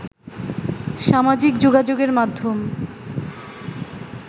সামাজিকযোগাযোগের মাধ্যম